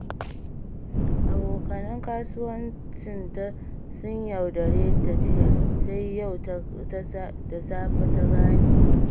Abokan kasuwancinta sun yaudare ta jiya, sai yau da safe ta gane.